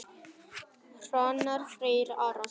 Hrannar Freyr Arason.